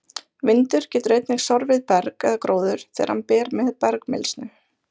Vindur getur einnig sorfið berg eða gróður þegar hann ber með bergmylsnu.